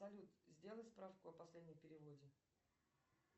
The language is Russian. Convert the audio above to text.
салют сделай справку о последнем переводе